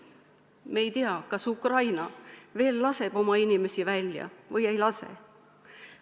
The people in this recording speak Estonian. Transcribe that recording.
Me ei tea, kas Ukraina laseb oma inimesi välja või ei lase.